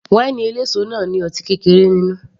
Wáínì eléso náà ní ọtí kékeré nínú